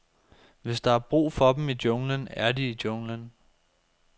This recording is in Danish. Hvis der er brug for dem i junglen, er de i junglen.